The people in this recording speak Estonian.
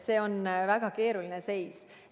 See on väga keeruline seis.